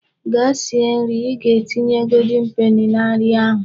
Gaa sie nri! I ga-etinye golden peni na nri ahu..